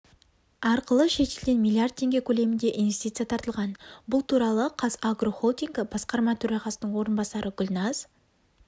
арқылы шетелден миллиард теңге көлемінде инвестиция тартылған бұл туралы қазагро холдингі басқарма төрағасының орынбасары гүлназ